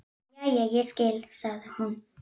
Jæja, ég skil, sagði hún.